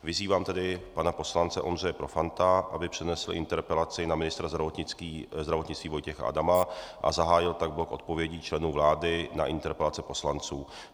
Vyzývám tedy pana poslance Ondřeje Profanta, aby přednesl interpelaci na ministra zdravotnictví Vojtěcha Adama a zahájil tak blok odpovědí členů vlády na interpelace poslanců.